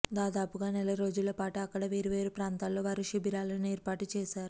దాదాపుగా నెల రోజుల పాటూ అక్కడ వేర్వేరు ప్రాంతాల్లో వారు శిబిరాలను ఏర్పాటు చేశారు